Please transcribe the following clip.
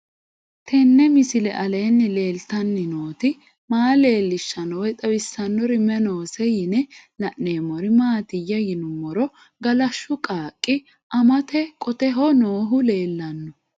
Tenni misile aleenni leelittanni nootti maa leelishshanno woy xawisannori may noosse yinne la'neemmori maattiya yinummoro galashshu qaaqi amatte qotteho noohu leellanno